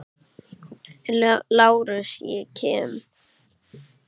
LÁRUS: Ég kem.